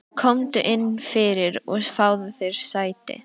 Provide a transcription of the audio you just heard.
Komdu inn fyrir og fáðu þér sæti.